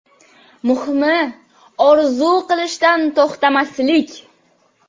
Muhimi, orzu qilishdan to‘xtamaslik.